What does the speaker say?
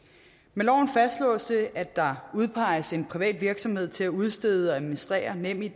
med loven fastslås det at der udpeges en privat virksomhed til at udstede og administrere nemid